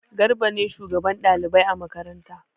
Garba ne shugaban ɗalibai a makaranta.